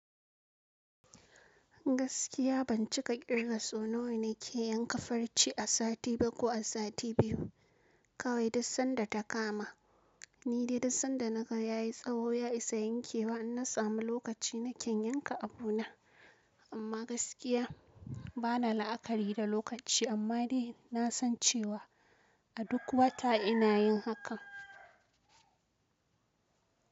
Gaskiya ban cika kirga sau nawa na ke yanka farci a sati ba ko a sati biyu kawai duk sanda ta kama ni dai duk sanda na ga yayi tsaho ya isa yankewa in na samu lokaci na kan yanka abu na amma gaskiya bana la'akari da lokaci amma dai na san cewa a duk wata ina yin hakan.